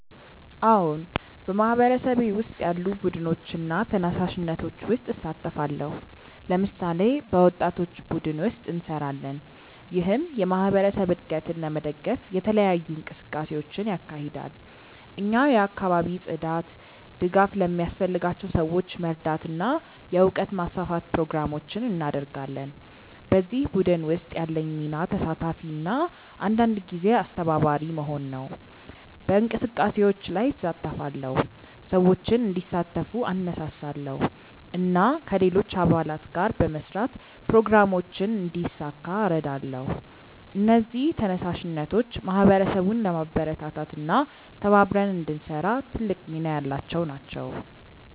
አዎን፣ በማህበረሰቤ ውስጥ ያሉ ቡድኖችና ተነሳሽነቶች ውስጥ እሳተፋለሁ። ለምሳሌ፣ በወጣቶች ቡድን ውስጥ እንሰራለን፣ ይህም የማህበረሰብ እድገትን ለመደገፍ የተለያዩ እንቅስቃሴዎችን ያካሂዳል። እኛ የአካባቢ ጽዳት፣ ድጋፍ ለሚያስፈልጋቸው ሰዎች መርዳት እና የእውቀት ማስፋፋት ፕሮግራሞችን እናደርጋለን። በዚህ ቡድን ውስጥ ያለኝ ሚና ተሳታፊ እና አንዳንድ ጊዜ አስተባባሪ መሆን ነው። በእንቅስቃሴዎች ላይ እሳተፋለሁ፣ ሰዎችን እንዲሳተፉ እነሳሳለሁ እና ከሌሎች አባላት ጋር በመስራት ፕሮግራሞችን እንዲሳካ እረዳለሁ። እነዚህ ተነሳሽነቶች ማህበረሰቡን ለማበረታታት እና ተባብረን እንድንሰራ ትልቅ ሚና ያላቸው ናቸው።